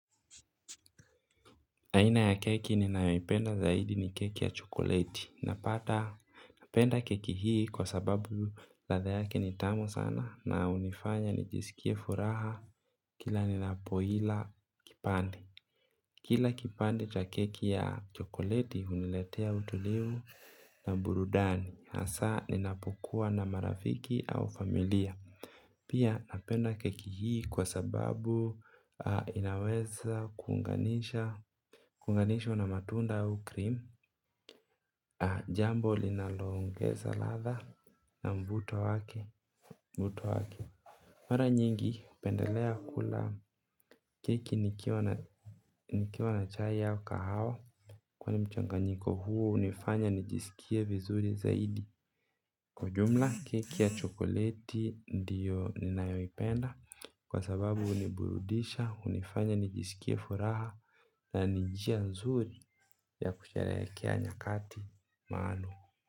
Aina ya keki ninayoipenda zaidi ni keki ya chokoleti. Napata, napenda keki hii kwa sababu ladha yake ni tamu sana na hunifanya nijisikie furaha kila ninapoila kipande. Kila kipande cha keki ya chokoleti huniletea utulivu na burudani. Masaa ninapokuwa na marafiki au familia pia napenda keki hii kwa sababu inaweza kuunganishwa na matunda au krimu. Jambo linaloongeza ladha na mvuto wake mara nyingi hupendelea kula keki nikiwa na nikiwa na chai au kahawa kwani mchanganyiko huo hunifanya nijisikie vizuri zaidi. Kwa jumla keki ya chokoleti ndiyo ninayoipenda kwa sababu huniburudisha, hunifanya nijisikie furaha na ni njia nzuri ya kusherehekea nyakati maalumu.